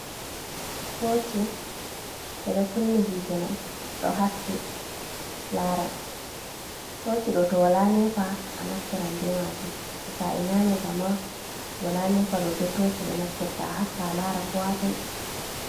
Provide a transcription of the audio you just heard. Toci, ɓe ɗon kunni hiite mai, ɗon haaski laara. Toci ɗo to wola nepa anaftiran be majum, to sai nane kama, woola nepa ɗo be toci ɓe naftirta a haska alaara ko hatoi.